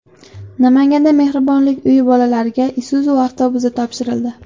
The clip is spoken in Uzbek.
Namanganda Mehribonlik uyi bolalariga Isuzu avtobusi topshirildi .